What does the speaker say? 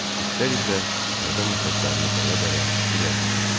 İtlər isə hərdən nəfəslərini dərə-dərə irəliləyirdilər.